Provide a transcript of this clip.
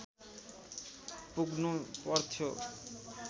पुग्नु पर्थ्यो